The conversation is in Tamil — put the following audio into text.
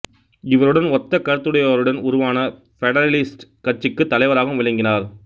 இவருடன் ஒத்தக் கருத்துடையோருடன் உருவான பெடரலிஸ்ட்டு கட்சிக்குத் தலைவராகவும் விளங்கினார்